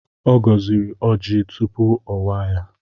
Ọ gọziri ọjị tupu ọ waa ya.